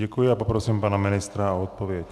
Děkuji a poprosím pana ministra o odpověď.